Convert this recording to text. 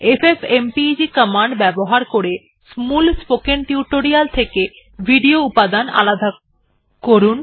FFmpeg command ব্যবহার করে মূল স্পোকেন টিউটোরিয়াল থেকে ভিডিও উপাদান আলাদা করুন